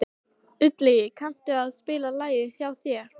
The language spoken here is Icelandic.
Illugi, kanntu að spila lagið „Hjá þér“?